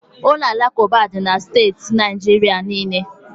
Ụlọ alakụba dị na steeti Naijiria niile.